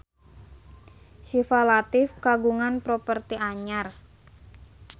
Syifa Latief kagungan properti anyar